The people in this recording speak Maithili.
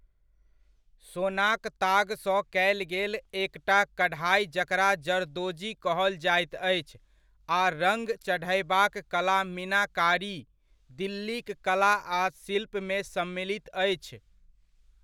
सोनाक तागसँ कयल गेल एकटा कढ़ाइ जकरा जरदोजी कहल जाइत अछि आ रङ्ग चढ़यबाक कला मीनाकारी, दिल्लीक कला आ शिल्पमे सम्मलित अछि।